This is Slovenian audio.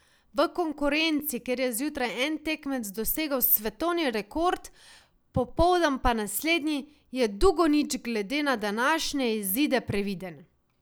V konkurenci, kjer je zjutraj en tekmec dosegel svetovni rekord, popoldan pa naslednji, je Dugonić glede na današnje izide previden.